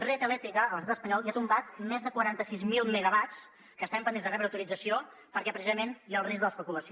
red eléctrica a l’estat espanyol ja ha tombat més de quaranta sis mil megawatts que estaven pendents de rebre autorització perquè precisament hi ha el risc de l’especulació